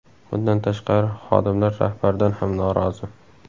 Bundan tashqari, xodimlar rahbardan ham norozi.